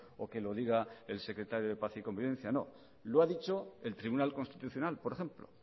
o que lo diga el secretario de paz y convivencia no lo ha dicho el tribunal constitucional por ejemplo